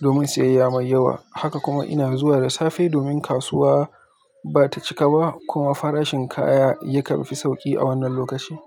domin siyayya mai yawa. Haka kuma ina zuwa da safe domin kasuwa ba ta cika ba kuma farashin kaya ya kan fi sauƙi a wannan lokaci.